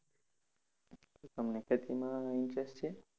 શું તમને ખેતીમાં interest છે?